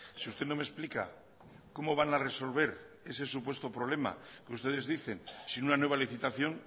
si usted no me explica cómo van a resolver ese supuesto problema que ustedes dicen sin una nuevalicitación